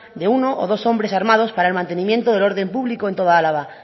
de uno o dos hombres armados para el mantenimiento del orden público en toda álava